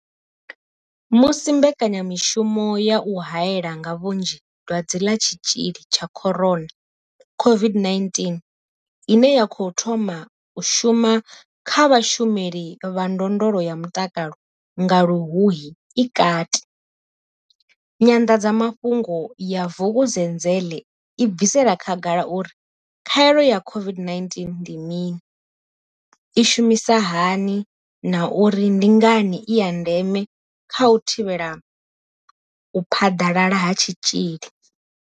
Musi mbekanyamushumo ya u haela nga vhunzhi Dwadze ḽa Tshitzhili tsha corona, COVID-19 ine ya khou thoma u shuma kha vhashumeli vha ndondolo ya mutakalo nga Luhuhi i kati, nyanḓadza mafhungo ya Vukuzenzele i bvisela khagala uri khaelo ya COVID-19 ndi mini, i shumisa hani na uri ndi ngani i ya ndeme kha u thivhela u phaḓalala ha tshitzhili.